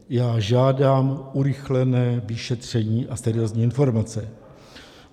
Já žádám urychlené vyšetření a seriózní informace.